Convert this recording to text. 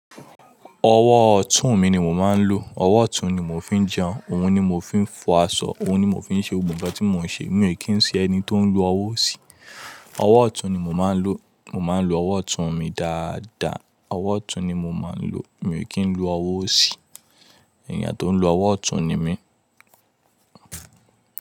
Ọwọ́ ọ̀tún mi ni mo máa ń lo. Ọwọ́ ọ̀tún ni mo fi ń jẹun, òun ni mo fi ń fọ aṣọ, òun ni mo fi ń ṣe ohun gbogbo tí mo ń ṣe. Mi ò kí ń ṣe ẹni tó ń lo ọwọ́ òsì. Ọwọ́ ọ̀tún ni mo máa ń lo. Mo máa ń lo ọwọ́ ọ̀tún mi dáadáa. Ọwọ́ ọ̀tún ni mo máa ń lo. Mi ò kí ń lo ọwọ́ òsì. Ẹ̀níyàn tó ń lo ọwọ́ ọ̀tún ni mí.